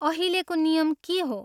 अहिलेको नियम के हो ?